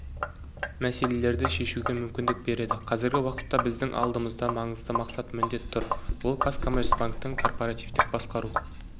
мәселелерді шешуге мүмкіндік береді қазіргі уақытта біздің алдымызда маңызды мақсат-міндет тұр ол қазкоммерцбанктің корпоративтік басқару